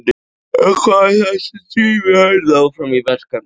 En hvað er það sem drífur Hörð áfram í verkefninu?